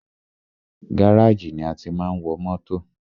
Gáràjì ni a tí máa ń wọ mótò.